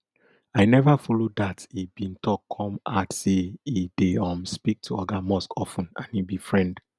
i neva follow dat e bin tok come add say e dey um speak to oga musk of ten and e be friend